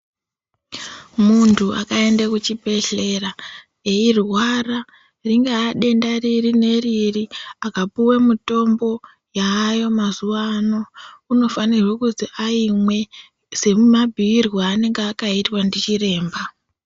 Muntu akaende kuchibhedhlera ,eirwara, ringaa denda riri neriri akapuwe mitombo yaayo mazuwa ano, unofanirwe kuti aimwe semabhuirwe aakaitwa ndichiremba.